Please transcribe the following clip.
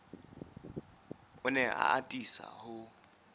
o ne a atisa ho